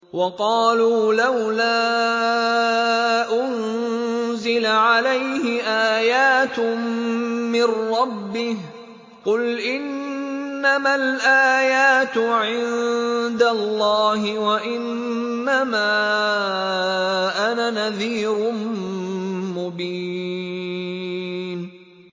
وَقَالُوا لَوْلَا أُنزِلَ عَلَيْهِ آيَاتٌ مِّن رَّبِّهِ ۖ قُلْ إِنَّمَا الْآيَاتُ عِندَ اللَّهِ وَإِنَّمَا أَنَا نَذِيرٌ مُّبِينٌ